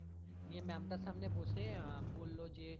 নিয়ে ma'am টার সামনে বসে বললো যে